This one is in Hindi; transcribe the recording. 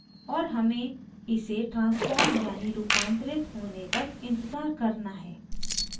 और हमें इसे transforms यानी रूपांतरित होने तक इंतज़ार करना है